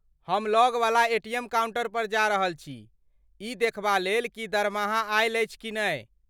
हम लगवला ATM counter पर जा रहल छी ई देखबा लेल की दरमाहा आयल अछि कि नहि।